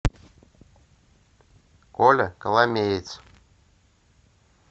коля коломеец